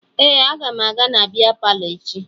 Ee, aga m aga na bịa palọ echi